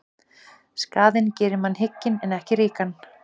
Skaðinn gerir mann hygginn en ekki ríkan.